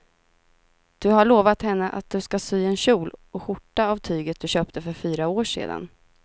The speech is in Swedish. Du har lovat henne att du ska sy en kjol och skjorta av tyget du köpte för fyra år sedan.